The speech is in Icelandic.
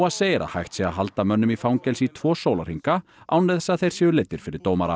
segir að hægt sé að halda mönnum í fangelsi í tvo sólarhringa án þess að þeir séu leiddir fyrir dómara